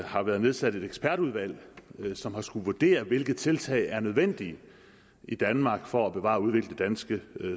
har været nedsat et ekspertudvalg som har skullet vurdere hvilke tiltag der er nødvendige i danmark for at bevare og udvikle det danske